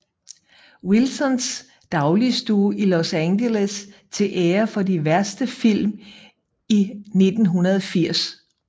Wilsons dagligstue i Los Angeles til ære for de værste film i 1980